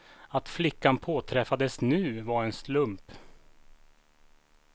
Att flickan påträffades nu var en slump.